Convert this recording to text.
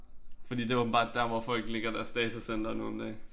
Fordi det åbenbart der hvor folk ligger deres datacenter nu om dage